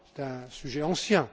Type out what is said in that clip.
C'est un sujet ancien.